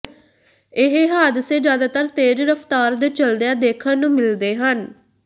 ਇਹ ਹਾਦਸੇ ਜਿਆਦਾਤਰ ਤੇਜ਼ ਰਫ਼ਤਾਰ ਦੇ ਚੱਲਦਿਆਂ ਦੇਖਣ ਨੂੰ ਮਿਲਦੇ ਹਨ